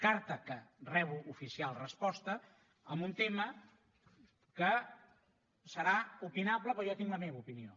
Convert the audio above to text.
carta de què rebo oficial resposta amb un tema que serà opinable però jo tinc la meva opinió